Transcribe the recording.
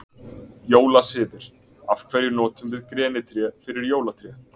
Jólasiðir Af hverju notum við grenitré fyrir jólatré?